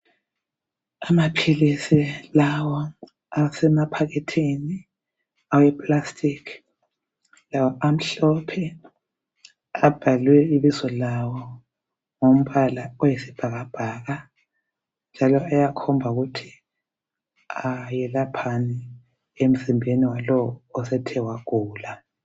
Amaphilisi lawa asemaphakethini aweplastic lawo amhlophe abhalwe ibizo lawo ngombala oyisibhakabhaka njalo akhomba ukuthi ayelaphani emzimbeni walowo osethe wagula .